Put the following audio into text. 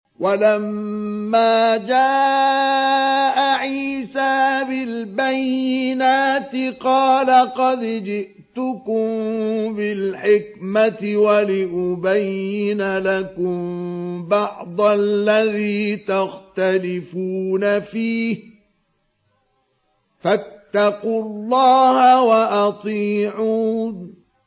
وَلَمَّا جَاءَ عِيسَىٰ بِالْبَيِّنَاتِ قَالَ قَدْ جِئْتُكُم بِالْحِكْمَةِ وَلِأُبَيِّنَ لَكُم بَعْضَ الَّذِي تَخْتَلِفُونَ فِيهِ ۖ فَاتَّقُوا اللَّهَ وَأَطِيعُونِ